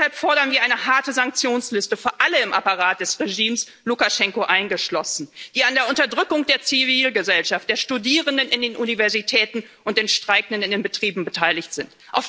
Deshalb fordern wir eine harte Sanktionsliste für alle im Apparat des Regimes, Lukaschenko eingeschlossen, die an der Unterdrückung der Zivilgesellschaft, der Studierenden in den Universitäten und den Streikenden in den Betrieben beteiligt sind.